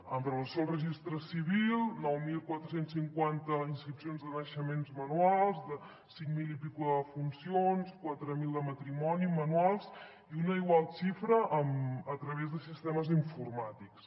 amb relació al registre civil nou mil quatre cents i cinquanta inscripcions de naixements manuals cinc mil i escaig de defuncions quatre mil de matrimoni manuals i una igual xifra a través de sistemes informàtics